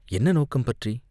என்ன நோக்கம் பற்றி?